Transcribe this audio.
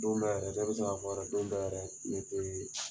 Don dɔ yrɛɛ dɔ bɛ se k'a fɔ yɛrɛ don dɔ yɛrɛ ni se b'i ye